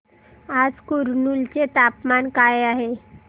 आज कुरनूल चे तापमान काय आहे